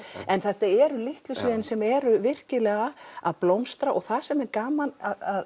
en þetta eru litlu sviðin sem eru virkilega að blómstra og það sem er gaman að